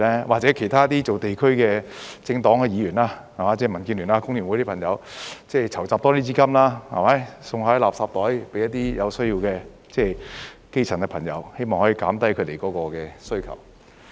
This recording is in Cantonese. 或者由其他做地區工作的政黨、議員，即是民主建港協進聯盟、香港工會聯合會的朋友籌集更多資金，送贈垃圾袋給一些有需要的基層朋友，希望可以減低他們的需求。